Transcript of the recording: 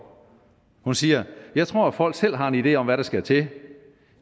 hun siger jeg tror folk selv har en idé om hvad der skal til